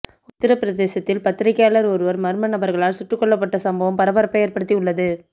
உத்தரபிரதேசத்தில் பத்திரிகையாளர் ஒருவர் மர்ம நபர்களால் சுட்டுக் கொல்லப்பட்ட சம்பவம் பரபரப்பை ஏற்படுத்தி உள்ளது